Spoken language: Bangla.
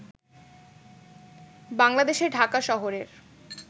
বাংলাদেশের ঢাকা শহরের